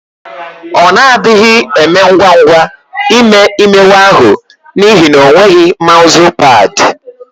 Ọ na-adịghi eme ngwa ngwa ime imewe ahụ n'ihi na o nweghị maụzụ pad.